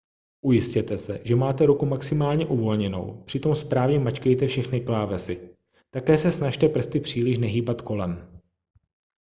ujistěte se že máte ruku maximálně uvolněnou přitom správně mačkejte všechny klávesy také se snažte prsty příliš nehýbat kolem